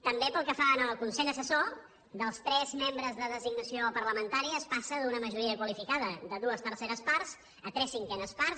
també pel que fa al consell assessor dels tres membres de designació parlamentària es passa d’una majoria qualificada de dues terceres parts a tres cinquenes parts